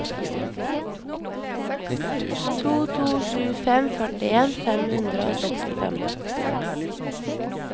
to to sju fem førtien fem hundre og sekstifem